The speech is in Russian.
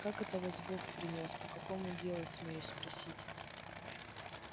как это вас бог принёс по какому делу смею спросить